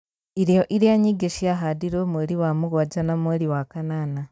Irio iria nyingĩ ciahandirwo mweri wa mũgwanja na mweri wa kanana